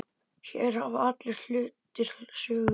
Hér hafa allir hlutir sögu.